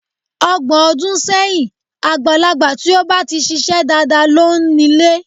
Ọgbọ̀n ọdún sẹ́yìn, àgbàlagbà tí ó ba ti ṣiṣẹ́ dáadáa ló ń ile.